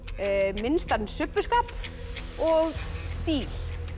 minnstan subbuskap og stíl